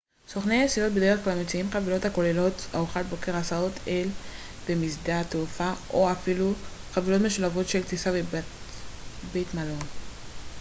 סוכני נסיעות בדרך כלל מציעים חבילות הכוללות ארוחת בוקר הסעות אל ומשדה התעופה או אפילו חבילות משולבות של טיסה ובית מלון